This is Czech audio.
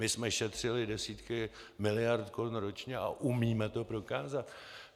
My jsme šetřili desítky miliard korun ročně a umíme to prokázat.